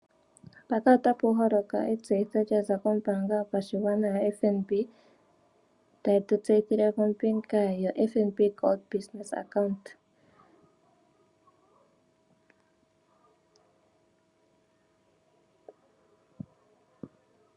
Mpaka otapu holoka etseyitho lya za kombaanga yopashigwana yoFNB, tayi tu tseyithile kombinga yoFNB Gold Business account.